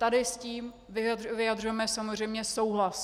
Tady s tím vyjadřujeme samozřejmě souhlas.